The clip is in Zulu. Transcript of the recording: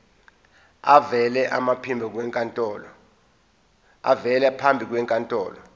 avele phambi kwenkantolo